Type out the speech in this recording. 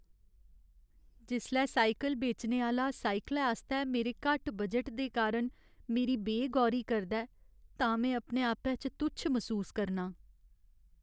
जिसलै साइकल बेचने आह्‌ला साइकलै आस्तै मेरे घट्ट बजट दे कारण मेरी बे गौरी करदा ऐ तां में अपने आपै च तुच्छ मसूस करनां।